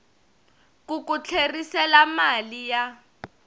ku ku tlherisela mali ya